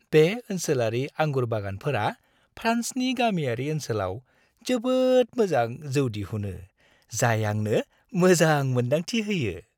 बे ओनसोलारि आंगुर बागानफोरा फ्रान्सनि गामियारि ओनसोलाव जोबोद मोजां जौ दिहुनो, जाय आंनो मोजां मोन्दांथि होयो।